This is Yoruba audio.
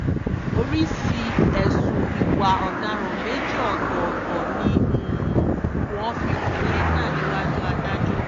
oríṣìí ẹ̀sùn ìwà ọ̀daràn méjì ọ̀tọ̀ọ̀tọ̀ ni wọ́n fi kan lina níwájú adájọ́